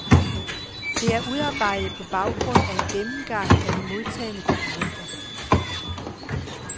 Det er udarbejdet på baggrund af en gennemgang af de modtagne dokumenter.